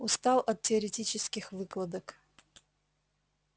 устал от теоретических выкладок